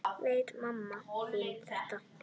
Veit mamma þín þetta?